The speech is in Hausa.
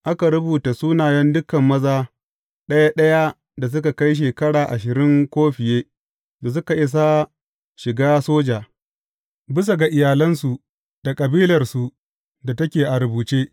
Aka rubuta sunayen dukan maza ɗaya ɗaya da suka kai shekara ashirin ko fiye da suka isa shiga soja, bisa ga iyalansu da kabilarsu da take a rubuce.